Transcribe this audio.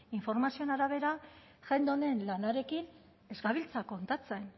informazioen arabera jende honen lanarekin ez gabiltza kontatzen